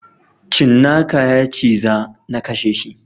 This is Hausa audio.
Cinnaka yaciza nakasheshi.